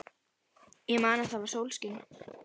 Ég man að það var sólskin.